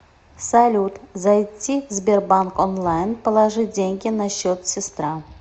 салют зайти в сбербанк онлайн положить деньги на счет сестра